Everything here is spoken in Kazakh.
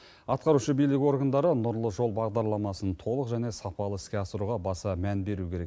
атқарушы билік органдары нұрлы жол бағдарламасын толық және сапалы іске асыруға баса мән беруі керек